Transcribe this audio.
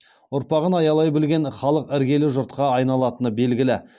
ұрпағын аялай білген халық іргелі жұртқа айналатыны белгілі